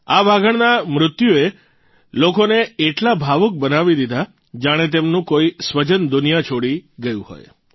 આ વાઘણના મૃત્યુએ લોકોને એટલા ભાવુક બનાવી દીધા જાણે તેમનું કોઇ સ્વજન દુનિયા છોડી ગયું હોય